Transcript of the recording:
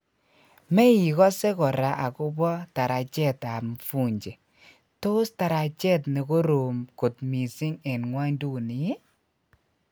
Meigose kora agopo tarajet ap mvunje:Tos tarajet nekorom kot missing en ngwonduni iih?